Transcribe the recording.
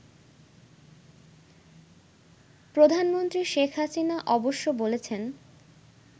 প্রধানমন্ত্রী শেখ হাসিনা অবশ্য বলেছেন